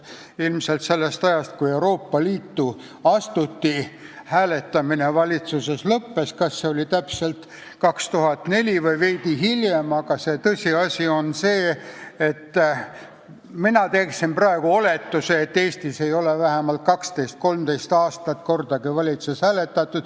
Ilmselt alates sellest ajast, kui Euroopa Liitu astuti, hääletamine valitsuses lõppes, oli see siis täpselt aastal 2004 või veidi hiljem, aga tõsiasi on see, mina teeksin praegu oletuse, et Eestis ei ole 12–13 aastat kordagi valitsuses hääletatud.